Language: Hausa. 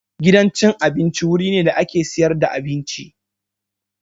Gidan abinci wuri ne da ake siyar da abinci.